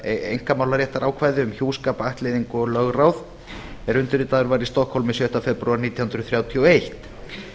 einkamálaréttarákvæði um hjúskap ættleiðingu og lögráð er undirritaður var í stokkhólmi sjötta febrúar nítján hundruð þrjátíu og eitt